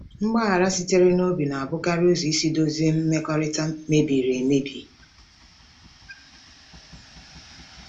Mgbaghara sitere n'obi na-abụkarị ụzọ isi dozie mmekọrịta mebiri emebi.